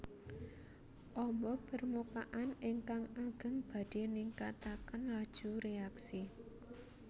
Ombo permukaan ingkang ageng badhe ningkataken laju reaksi